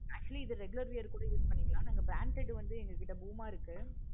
actually இது regular view க்கு use பண்ணிக்கலாம். brand side வந்து எங்க கிட்ட இருக்கு.